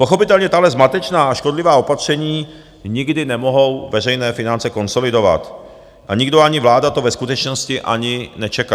Pochopitelně tahle zmatečná a škodlivá opatření nikdy nemohou veřejné finance konsolidovat a nikdo, ani vláda to ve skutečnosti ani nečeká.